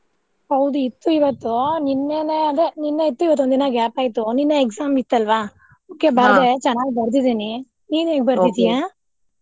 ಹೌದು ಇತ್ತು ಇವತ್ತು ನಿನ್ನೆನೆ ಅದೆ ನಿನ್ನೆ ಇತ್ತು ಇವತ್ತೊಂದ ದಿನ gap ಆಯ್ತು ನಿನ್ನೆ exam ಇತ್ತಲ್ವಾ okay ಬರ್ದೆ ಚೆನ್ನಾಗಿ ಬರ್ದಿದಿನಿ ನೀನ್ ಹೇಗ್ ಬರ್ದಿದೀಯಾ?